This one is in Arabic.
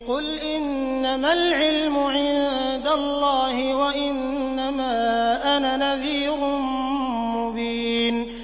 قُلْ إِنَّمَا الْعِلْمُ عِندَ اللَّهِ وَإِنَّمَا أَنَا نَذِيرٌ مُّبِينٌ